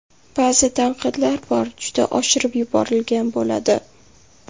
Ba’zi tanqidlar bor juda oshirib yuborilgan bo‘ladi.